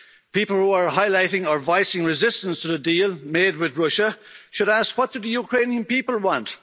People who are highlighting or voicing resistance to the deal made with Russia should ask what do the Ukrainian people want?